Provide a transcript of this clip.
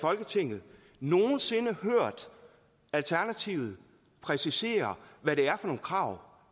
folketinget nogen sinde hørt alternativet præcisere hvad det er for nogle krav